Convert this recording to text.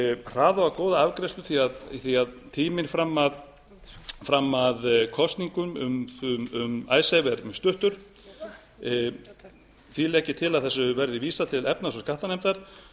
hraða og góða afgreiðslu því að tíminn fram að kosningum um icesave er mjög stuttur því legg ég til að þessu verði vísað til efnahags og skattanefndar